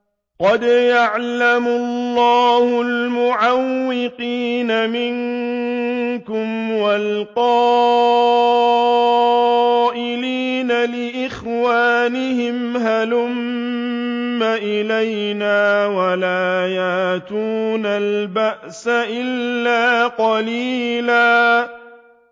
۞ قَدْ يَعْلَمُ اللَّهُ الْمُعَوِّقِينَ مِنكُمْ وَالْقَائِلِينَ لِإِخْوَانِهِمْ هَلُمَّ إِلَيْنَا ۖ وَلَا يَأْتُونَ الْبَأْسَ إِلَّا قَلِيلًا